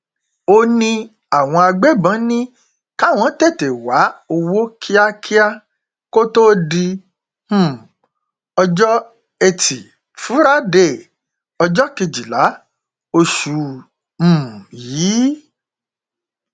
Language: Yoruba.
ó ní àwọn agbébọn ní káwọn tètè wá owó kíákíá kó tóó di um ọjọ etí furadé ọjọ kejìlá oṣù um yìí